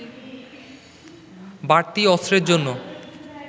বাড়তি অস্ত্রের জন্য